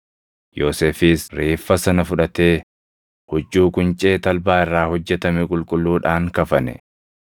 Yoosefis reeffa sana fudhatee huccuu quncee talbaa irraa hojjetame qulqulluudhaan kafane;